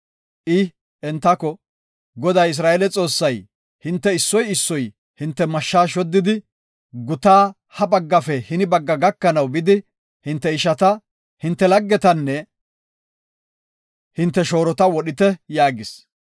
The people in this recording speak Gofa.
I, entako, “Goday, Isra7eele Xoossay, hinte issoy issoy hinte mashshaa shoddidi, gutaas ha pengefe hini penge gakanaw bidi, hinte ishata, hinte laggetanne hinte shoorota wodhite” yaagis.